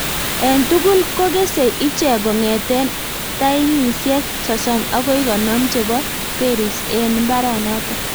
eng tugul ko kesei ichek kong'ete tanisiek sosom akoi konom chebo(berries) eng mbaranoto